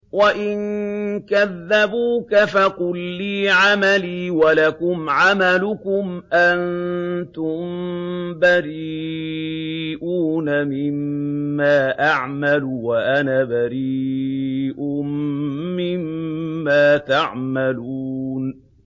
وَإِن كَذَّبُوكَ فَقُل لِّي عَمَلِي وَلَكُمْ عَمَلُكُمْ ۖ أَنتُم بَرِيئُونَ مِمَّا أَعْمَلُ وَأَنَا بَرِيءٌ مِّمَّا تَعْمَلُونَ